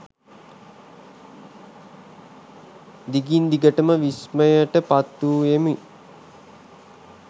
දිගින් දිගටම විස්මයට පත් වූයෙමි